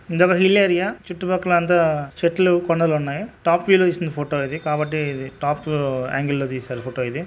ఇదొక hill area . చుట్టూ పక్కల అంతా చెట్లు కొండలు ఉన్నాయి. టాప్ వ్యూ లో తీసిన ఫోటో ఇది. కాబట్టి ఇది టాప్ ఉ యాంగిల్ లో తీసారు. ఫోటో ఇది.